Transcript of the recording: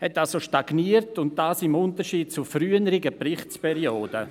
Hier fand eine Stagnation statt, dies im Unterschied zu früheren Berichtsperioden.